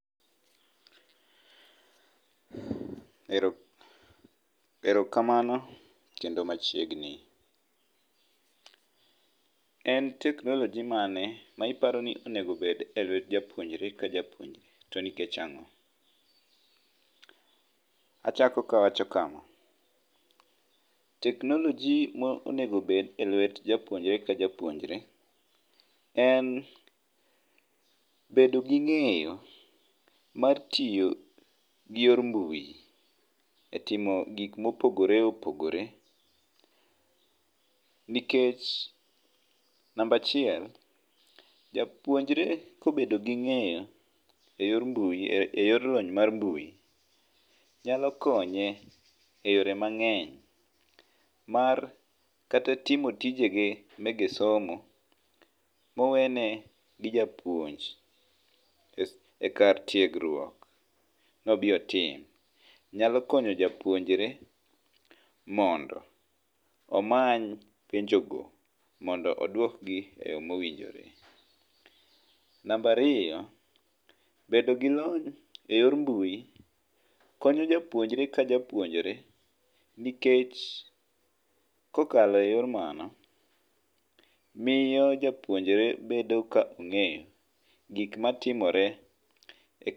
Erokamano kendo machiegni. En teknoloji mane ma iparo ni onego obed e lwet japuonjre ka japuonjre?,to nikech ang'o?. Achako kawacho kama, teknoloji ma onego obed e lwet japuonjre ka japuonjre en bedo gi ng'eyo mar tiyo gi yor mbui,e timo gik mopogore opogore, nikech namba achiel; japuonjre kobedo gi ng'eyo e yor lony mar ,mbui, nyalo konye eyore mang'eny, mar ,kata timo tijege mege somo mowene gi japuonj,e kar tiegruok, nobi otim. Nyalo konyo japuonjre mondo omany penjogo mondo odwokgi e yo mowinjore. Namba ariyo, bedo gi lony e yor mbu, konyo japuonjre ka japuonjre, nikech kokalo eyor mano, miyo japuonjre bedo ka ong'eyo gik matimore e kar.